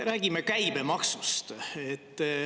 Räägime käibemaksust.